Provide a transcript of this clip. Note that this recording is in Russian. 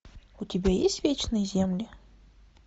у тебя есть вечные земли